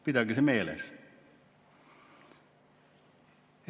Pidage see meeles!